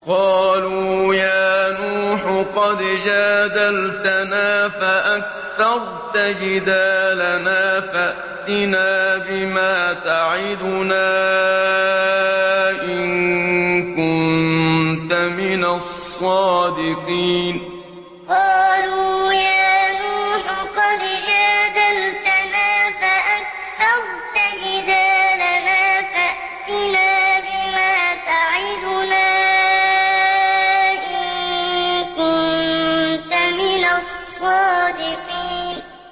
قَالُوا يَا نُوحُ قَدْ جَادَلْتَنَا فَأَكْثَرْتَ جِدَالَنَا فَأْتِنَا بِمَا تَعِدُنَا إِن كُنتَ مِنَ الصَّادِقِينَ قَالُوا يَا نُوحُ قَدْ جَادَلْتَنَا فَأَكْثَرْتَ جِدَالَنَا فَأْتِنَا بِمَا تَعِدُنَا إِن كُنتَ مِنَ الصَّادِقِينَ